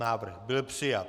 Návrh byl přijat.